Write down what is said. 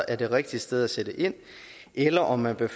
er det rigtige sted at sætte ind eller om man bør